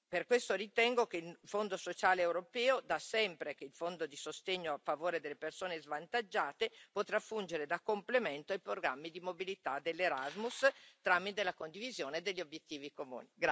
Per questo ritengo che il Fondo sociale europeo, da sempre il fondo di sostegno a favore delle persone svantaggiate, potrà fungere da complemento ai programmi di mobilità dell'Erasmus tramite la condivisione degli obiettivi comuni.